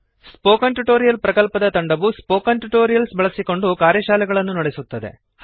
spoken tutorial ಪ್ರಕಲ್ಪದ ತಂಡವು spoken tutorials ಬಳಸಿಕೊಂಡು ಕಾರ್ಯಶಾಲೆಗಳನ್ನು ನಡೆಸುತ್ತದೆ